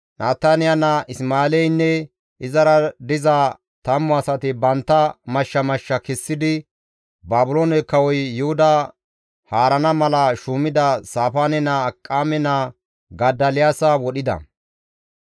Nataniya naa Isma7eeleynne izara diza tammu asati bantta mashsha mashsha kessidi Baabiloone kawoy Yuhuda haarana mala shuumida Saafaane naa Akiqaame naa Godoliyaasa wodhida.